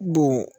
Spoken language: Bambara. Don